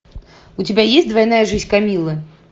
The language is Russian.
у тебя есть двойная жизнь камиллы